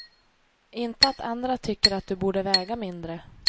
Inte att andra tycker att du borde väga mindre.